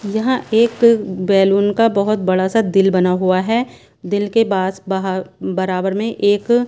यहाँ एक बैलून का बहुत बड़ा सा दिल बना हुआ हैं दिल के बास बाहर बराबर में एक--